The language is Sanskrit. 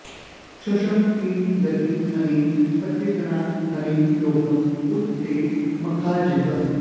शंष किं गतिं अनेन पत्त्रिणा हन्मि लोकं उत ते मखार्जितं